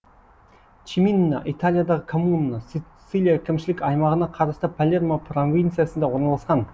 чиминна италиядағы коммуна сицилия әкімшілік аймағына қарасты палермо провинциясында орналасқан